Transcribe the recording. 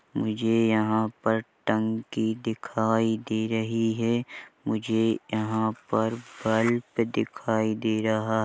मुझे यहाँ पर टंकी दिखाई दे रही है मुझे यहाँ पर बल्ब दिखाई दे रहा है।